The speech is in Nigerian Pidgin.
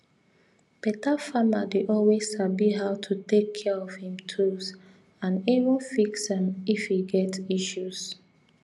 better farmer dey always sabi how to take care of him tools and even fix am if e get issues